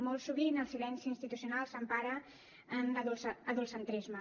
molt sovint el silenci institucional s’empara en l’adultcentrisme